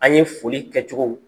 An ye foli kɛcogow